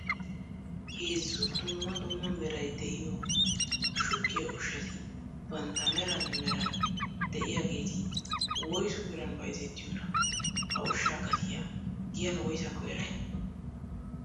Heezzu dumma dumma meray de'iyo shuggiya ushshati bantta meran meran de'iyaageti woyssu biran bayzzetiyoona? Ha ushshaa gatiyaa giyan woyssakko eray?